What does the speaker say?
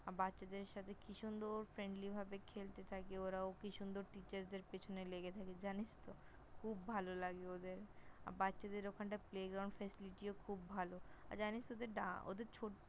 বাচ্চা দের সাথে কি সুন্দর Friendly ভাবে খেলতে থাকে ওরা, ও কি সুন্দর দের পিছনে লেগে থাকে জানিস তো? খুব ভাল লাগে ওদের! বাচ্চা দের ওখানটা Playground facility -ও খুব ভালো । আর জানিস তো ওদের ওদের